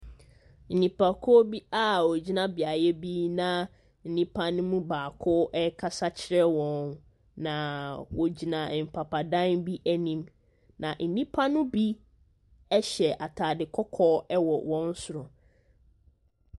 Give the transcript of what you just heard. Nipakuo bi a wɔgyina beaeɛ bi na nnipa no mu baako rekasa kyerɛ wɔn. Na wɔgyina mpapa dan bi anim. Na nnipa no bi hyɛ atade kɔkɔɔ wɔ wɔn soro.